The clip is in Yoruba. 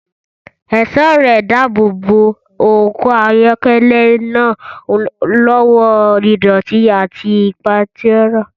Ẹ̀ṣọ́ ẹrẹ̀ ń dáàbò bo ọkọ̀ ayọ́kẹ́lẹ́ náà lọ́wọ́ ìdọ̀tí àti pàǹtírí.